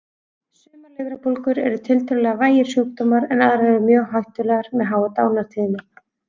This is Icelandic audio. Sumar lifrarbólgur eru tiltölulega vægir sjúkdómar en aðrar eru mjög hættulegar með háa dánartíðni.